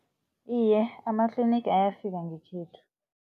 Iye, amatlinigi ayafika ngekhethu.